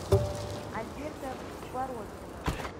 альберта бородкина